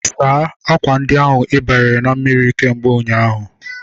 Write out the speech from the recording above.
Saa akwa ndi ahu ibianyere na mmiri kemgbe ụnyaahụ!